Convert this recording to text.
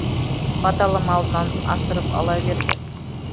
баталы малынан асырып ала берді